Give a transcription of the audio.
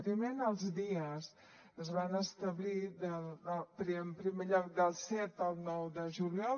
primer en els dies es van establir en primer lloc del set al nou de juliol